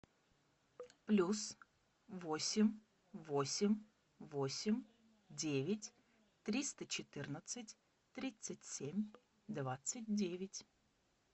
плюс восемь восемь восемь девять триста четырнадцать тридцать семь двадцать девять